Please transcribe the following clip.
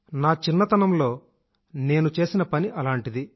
నా చిన్నతనంలో నేను చేసిన పని అలాంటిది